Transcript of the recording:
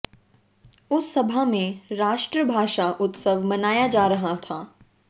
उस सभा में राष्ट्रभाषा उत्सव मनाया जा रहा था